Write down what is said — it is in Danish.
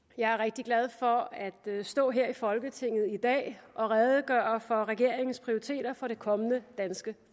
jeg er rigtig glad for at stå her i folketinget i dag og redegøre for regeringens prioriteter for det kommende danske